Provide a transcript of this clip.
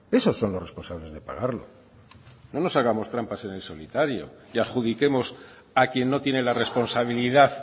esos son los responsables de pagarlo no nos hagamos trampas en el solitario y adjudiquemos a quien no tiene la responsabilidad